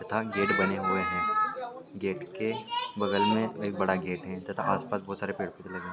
तथा गेट बने हुए है गेट के बगल में एक बड़ा गेट है तथा आस पास बहुत सारे पेड़ पौधे लगे--